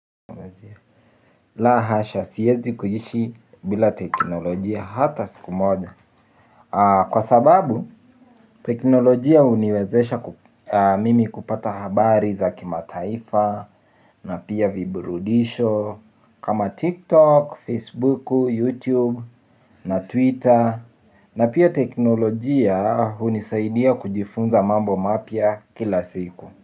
La hasha siezi kuishi bila teknolojia hata siku moja kwa sababu teknolojia huniwezesha mimi kupata habari za kimataifa na pia viburudisho kama TikTok, Facebook, YouTube na Twitter na pia teknolojia hunisaidia kujifunza mambo mapya kila siku.